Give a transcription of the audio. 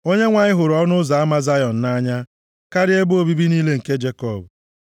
Onyenwe anyị hụrụ ọnụ ụzọ ama Zayọn nʼanya, karịa ebe obibi niile nke Jekọb.